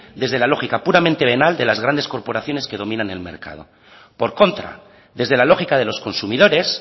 desde la lógica puramente venal de las grandes corporaciones que dominan el mercado por contra desde la lógica de los consumidores